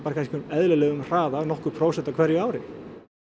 eðlilegum hraða um nokkur prósent á hverju ári